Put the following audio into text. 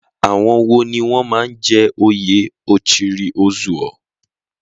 Àwọn wo ni wọ́n máa ń jẹ oyè Ochiri Ozuo?